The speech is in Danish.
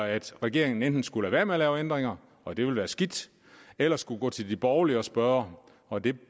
at regeringen enten skulle lade være med at lave ændringer og det ville være skidt eller skulle gå til de borgerlige og spørge og det